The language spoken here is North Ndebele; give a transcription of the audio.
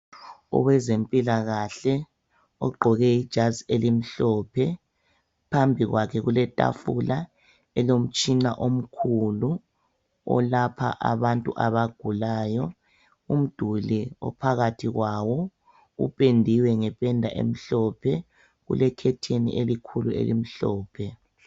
Owezempilakahle ogqoke ijazi elimhlophe phambi kwakhe kuletafula elomtshina omkhulu olapha abantu abagulayo, umduli aphalathi kwawo upendiwe ngependa emhlophe ulekhetheni elikhulu elimhlophe.